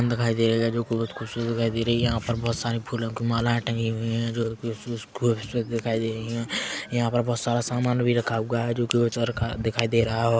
-- दिखाई दे रहा है जो बहुत खूबसूरत दिखाई दे रही है यहाँ पर बहुत सारी फूलो की मालाये टंगी हुई है जो कि दिखाई दे रही है यहाँ पर बहुत सामान भी रखा हुवा है जो की दिखाई दे रहा है औ --